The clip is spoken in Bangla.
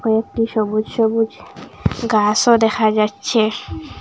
কয়েকটি সবুজ সবুজ গাসও দেখা যাচ্ছে।